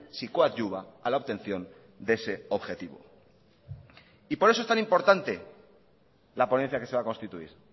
si coadyuva a la obtención de ese objetivo y por eso es tan importante la ponencia que se va a constituir